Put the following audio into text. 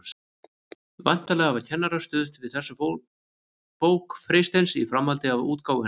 Væntanlega hafa kennarar stuðst við þessa bók Freysteins í framhaldi af útgáfu hennar.